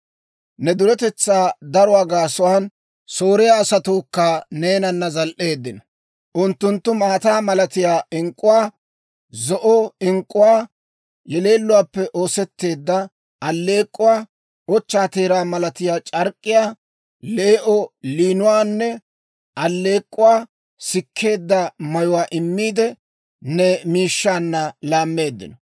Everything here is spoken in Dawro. «‹ «Ne duretetsaa daruwaa gaasuwaan, Sooriyaa asatuukka neenana zal"eeddino; unttunttu maata malatiyaa ink'k'uwaa, zo'o ink'k'uwaa, yeleelluwaappe oosetteedda alleek'k'uwaa, ochchaa teeraa malatiyaa c'ark'k'iyaa, lee"o liinuwaanne alleek'k'uwaa sikkeedda mayuwaa immiide, ne miishshaanna laammeeddino.